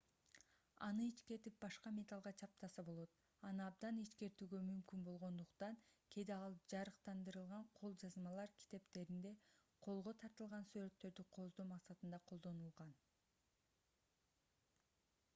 аны ичкертип башка металлга чаптаса болот аны абдан ичкертүүгө мүмкүн болгондукн кээде ал жарыктандырылган кол жазмалар китептеринде колго тартылган сүрөттөрдү кооздоо максатында колдонулган